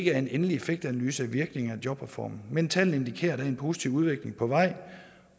er en endelig effektanalyse af virkningen af jobreformen men tallene indikerer at der er en positiv udvikling på vej